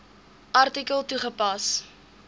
artikel toegepas